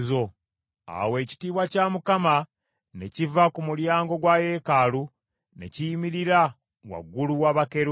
Awo ekitiibwa kya Mukama ne kiva ku mulyango gwa yeekaalu ne kiyimirira waggulu wa bakerubi.